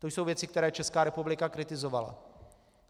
To jsou věci, které Česká republika kritizovala.